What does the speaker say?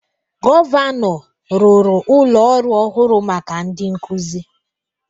Gọvanọ rụrụ ụlọ ọrụ ọhụrụ maka ndị nkuzi